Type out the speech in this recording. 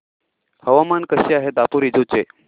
हवामान कसे आहे दापोरिजो चे